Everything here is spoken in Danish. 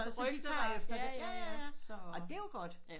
Så de tager efter ej det det er jo godt